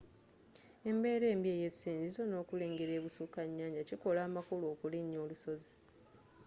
embeera embi ey'esinzizo nokulengele ebusuka nyanja kikola amakulu okulinya olusozi